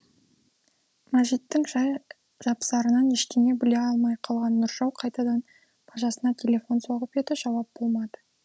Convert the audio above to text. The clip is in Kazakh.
мәжиттің жай жапсарынан ештеңе біле алмай қалған нұржау қайтадан бажасына телефон соғып еді жауап болмады